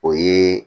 O ye